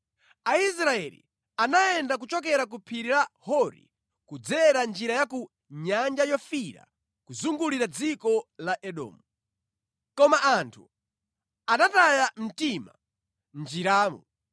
Aisraeli anayenda kuchokera ku phiri la Hori kudzera njira ya ku Nyanja Yofiira kuzungulira dziko la Edomu. Koma anthu anataya mtima mʼnjiramo